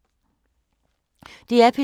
DR P2